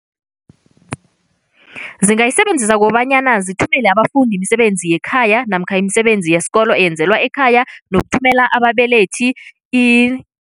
Zingayisebenzisa ngokobanyana zithumele abafundi imisebenzi yekhaya namkha imisebenzi yesikolo eyenzelwa ekhaya nokuthumela ababelethi i